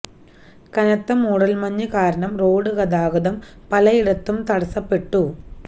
കനത്ത മൂടൽ മഞ്ഞ് കാരണം റോഡ് ഗതാഗതം പലയിടത്തും തടസ്സപ്പെട്ടു